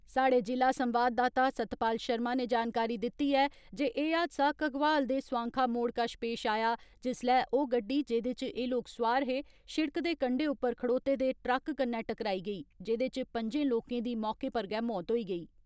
साढ़े जि'ला संवाददाता सतपाल शर्मा ने जानकारी दित्ती ऐ जे एह् हादसा घगवाल दे स्वाखां मोड़ कश पेश आया जिसलै ओह् गड्डी जेह्दे च एह् लोक सुआर हे, शिड़क दे कंडे उप्पर खड़ोते दे ट्रक कन्नै टकराई गेई, जेह्दे च पं'जें लोकें दी मौके उप्पर गै मौत होई गेई।